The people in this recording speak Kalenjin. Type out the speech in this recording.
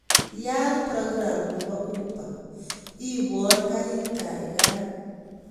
Yaat program nepo uber iipwon karit kaigaigai